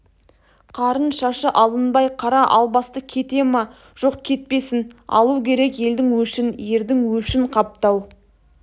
қарын шашы алынбай қара албасты кете ме жоқ кетпесін алу керек елдің өшін ердің өшін қаптау